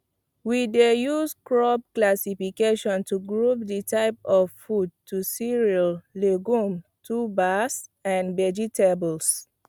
we dey use crop classification to group the type of the food to cereal legume tubers and vegetables